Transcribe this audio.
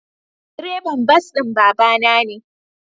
Direban bas din babana ne.